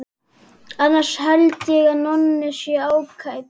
Annars held ég að Nonni sé ágætur inn við beinið.